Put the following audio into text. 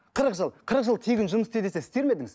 қырық жыл қырық жыл тегін жұмыс істе десе істер ме едіңіз